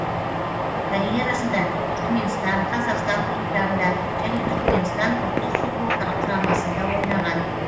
карьерасында түрікменстан қазақстан клубтарында және түрікменстан ұлттық футбол құрамасында ойнаған